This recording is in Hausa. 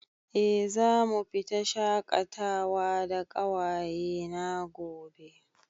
Eh, zamu fita shaƙatawa da ƙawaye na gobe